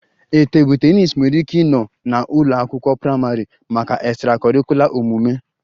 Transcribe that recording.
A table tennis nwere ike ịnọ na a ụlọ akwụkwọ praịmarị maka extracurricular omume